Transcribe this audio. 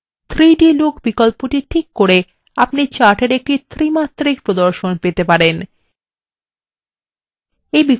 3d look বিকল্পটি tick করে আপনি চাটের একটি ত্রিমাত্রিক প্রদর্শন পেতে পারেন